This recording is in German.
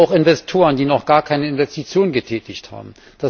Auch Investoren, die noch gar keine Investitionen getätigt haben.